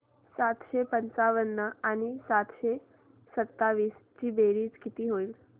सातशे पंचावन्न आणि सातशे सत्तावीस ची बेरीज किती होईल